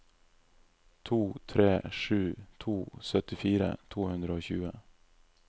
to tre sju to syttifire to hundre og tjue